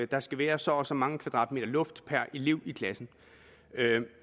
der skal være så og så mange kvadratmeter luft per elev i klassen